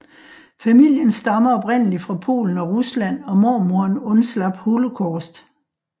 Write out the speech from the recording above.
Familien stammer oprindelig fra Polen og Rusland og mormoren undslap Holocaust